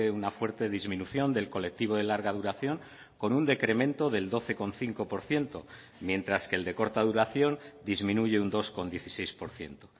una fuerte disminución del colectivo de larga duración con un decremento del doce coma cinco por ciento mientras que el de corta duración disminuye un dos coma dieciséis por ciento